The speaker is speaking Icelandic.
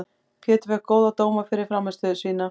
Pétur fékk góða dóma fyrir frammistöðu sína.